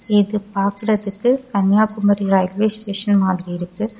இது பாக்குறதுக்கு Kanyakumari railway station மாதிரி இருக்கு.